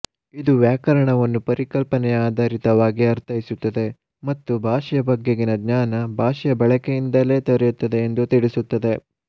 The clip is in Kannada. ಇದು ವ್ಯಾಕರಣವನ್ನು ಪರಿಕಲ್ಪನೆಯಾದಾರಿತವಾಗಿ ಅರ್ಥೈಸುತ್ತದೆ ಮತ್ತು ಭಾಷೆಯ ಬಗ್ಗೆಗಿನ ಜ್ಞಾನ ಭಾಷೆಯ ಬಳಕೆಯಿನ್ದಲೇ ದೊರೆಯುತ್ತದೆ ಎಂದು ತಿಳಿಸುತ್ತದೆ